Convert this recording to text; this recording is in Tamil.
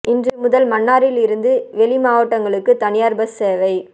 இன்று முதல் மன்னாரில் இருந்து வெளிமாவட்டங்களுக்கு தனியார் பஸ் சேவை